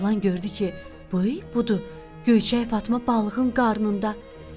Oğlan gördü ki, ay, budur, Göyçək Fatma balığın qarnında.